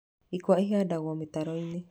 Ikwa ihandagwo mĩtaro-inĩ.